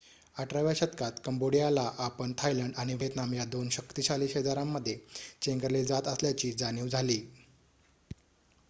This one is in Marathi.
१८व्या शतकात कंबोडियाला आपण थायलंड आणि व्हिएतनाम या दोन शक्तिशाली शेजाऱ्यांमध्ये चेंगरले जात असल्याची जाणीव झाली